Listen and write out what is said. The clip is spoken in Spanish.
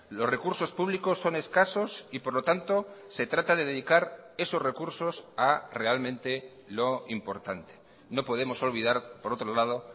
los recursos públicos son escasos y por lo tanto se trata de dedicar esos recursos a realmente lo importante no podemos olvidar por otro lado